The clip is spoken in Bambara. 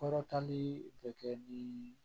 Kɔrɔtali bɛ kɛ bi